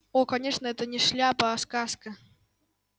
о конечно это не шляпа а сказка